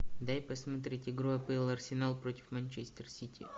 дай посмотреть игру апл арсенал против манчестер сити